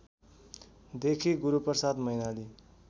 देखि गुरूप्रसाद मैनाली